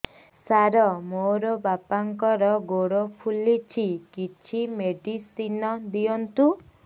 ସାର ମୋର ବାପାଙ୍କର ଗୋଡ ଫୁଲୁଛି କିଛି ମେଡିସିନ ଦିଅନ୍ତୁ